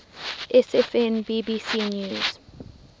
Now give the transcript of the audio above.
sfn bbc news